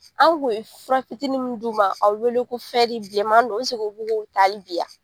An kun ye fura fitinin mun d'i ma , a be wele ko fɛri bilenman don ta hali bi ya?